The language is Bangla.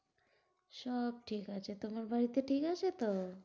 সব ঠিক আছে। তোমার বাড়িতে ঠিক আছে তো?